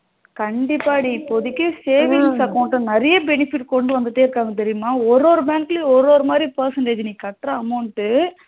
கண்டிப்பா டி இப்போதைக்கு savings account நெறையா benefit கொண்டு வந்துட்டே இருக்காங்க தெரியுமா? ஒரு ஒரு bank லையும் ஒரு ஒரு மாதிரி percentage நீ கட்ற amount டு